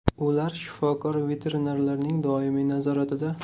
Ular shifokor-veterinarlarning doimiy nazoratida.